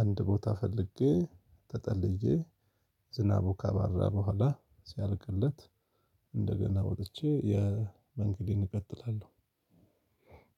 አንድ ቦታ ፈልጌ ተጠልዬ ዝናቡ ካባራ በኋላ ሲያልቅለት። እንደገና ወጥቼ የ መንግዴን እቀጥላለሁ።